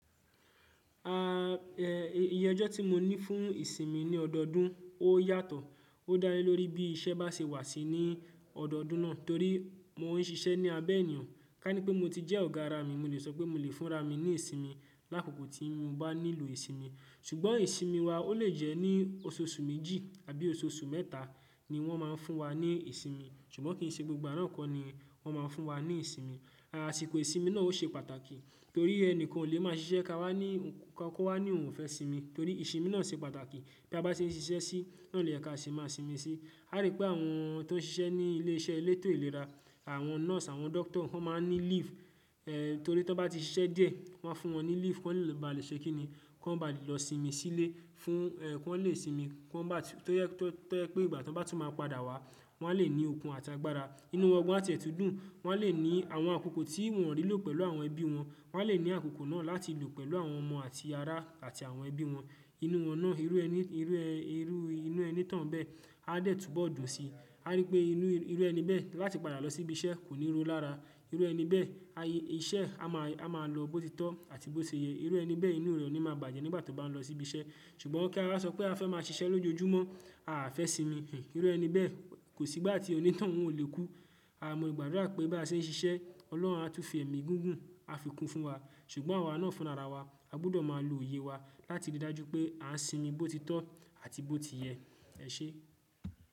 Iye ọjọ́ tí mo ní fún ìsinmi ní ọdọọdún ó yàtọ̀, ó dánilórí bí iṣẹ́ bá ṣe wà sí ní ọdọọdún náà torí mo ń siṣẹ́ ní abẹ́ ènìyàn. Ká ní pé mo ti jẹ́ ọ̀gá ara mi, mo lè sọ pé mo lè fúnra mi ní ìsinmi lákòókò tí mo bá nílò ìsinmi. Ṣùgbọ́n ìsinmi wa ó lè jẹ́ ní oṣooṣù méjì àbí oṣooṣù mẹ́ta ni wọ́n má a fún wa ní ìsinmi, ṣùgbọ́n kì í ṣe gbogbo àná kọ́ ni wọ́n má a fún wa ní ìsinmi. Àsiko ìsinmi náà ó ṣe pàtàkì torí ẹni kan ò lè máa ṣiṣẹ́ ka wá ní, kọ́ wá ní òun ò fẹ́ sinmi torí ìsinmi náà ṣe pàtàkì. Bí a bá ṣe ń ṣiṣẹ́ sí, náà ni oye ká ṣe máa sinmi sí. A rí pé àwọn tó ń ṣiṣẹ́ ní ilé iṣẹ́ elétò ìlera, àwọn nọ́ọ̀sì, àwọn dọ́kítà wọ́n máa ń ní leave, torí tí wọ́n bá ti ṣiṣẹ́ díẹ̀, wọ́n a fún wọn ní leave, ki wọ́n lè ba lè ṣe kí ni, kí wọ́n ba lè lọ sinmi sílé fún kí wọ́n lè sinmi kí wọ́n má tó je pé ìgbà tí wọ́n bá tún máa padà wá, wọ́n a lè ní okun àti agbára, inú wọn gan àti ẹ̀tùdù, wọ́n a lè ní àwọn àkókò tí wọ́n rí lò pẹ̀lú àwọn ẹbí wọn, wọ́n a lè ní àkókò náà láti lò pẹ̀lú àwọn ọmọ àti ará àti àwọn ẹbí wọn. Inú wọn náà, irú ẹni inú oni tán bẹ́ẹ̀ a dẹ̀ túbọ̀ dùnsi. A rí pé inú irú ẹni bẹ́ẹ̀ láti padà lọ sí ibi iṣẹ́ kò ní ro lára. Irú ẹni bẹ́ẹ̀, iṣẹ́ a máa lọ bó ti tọ́ àti bó ti yẹ. Irú ẹni bẹ́ẹ̀ inú rẹ̀ oni máa bàjẹ́ nígbà ti o bá ń lọ sí ibi iṣẹ́. Ṣùgbọ́n kí a wáa sọ pé a fẹ́ máa ṣiṣẹ́ lójoojúmọ́, à fẹ́ sinmi. Irú ẹni bẹ́ẹ̀ kò sí ìgbà tí oní tàn òún olè kú. A mọ ìgbàdúrà pé bí a ṣe ń ṣiṣẹ́, Ọlọ́run á tún fi ẹ̀mí gúgùn, á fi kú fún wa. Ṣùgbọ́n àwa náà fúnra ara wa, a gbudọ̀ máa lo oye wa láti rí i dájú pé à ń sinmi bó ti tọ́ àti bó ti yẹ. Ẹ ṣé.